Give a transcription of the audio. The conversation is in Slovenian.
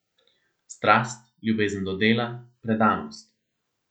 Strast, ljubezen do dela, predanost.